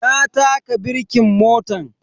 Na taka birkin motan.